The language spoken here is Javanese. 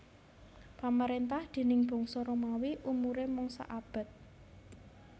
Pamrentahan déning bangsa Romawi umure mung saabad